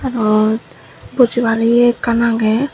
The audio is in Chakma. eyot bujibar ye ekkan agey.